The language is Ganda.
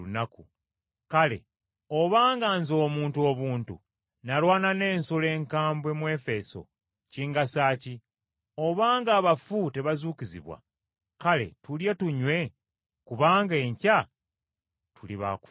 Kale obanga nze omuntu obuntu nalwana n’ensolo enkambwe mu Efeso, kingasa ki? Obanga abafu tebazuukizibwa, “Kale tulye tunywe kubanga enkya tuli ba kufa.”